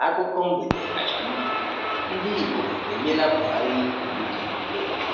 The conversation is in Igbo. Akụkọ mgbede kacha mma: Ndị Igbo enyela Buhari iwu dị egwu